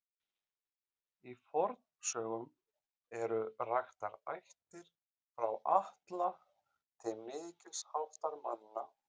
Í fornsögum eru raktar ættir frá Atla til mikils háttar manna.